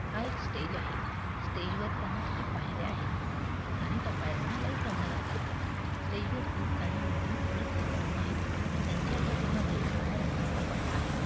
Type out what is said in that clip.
हा एक स्टेज आहे. स्टेजवर जाण्यासाठी पायऱ्या आहेत. आणि त्या पायऱ्यांना लाईट लावण्यात आलेली आहे. स्टेजवरती काही मुली नृत्य करत आहेत. त्यांचा पाठीमागे काळ्या रंगाचा पडदा आहे.